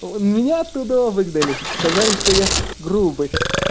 о меня оттуда выгнали сказали что я грубый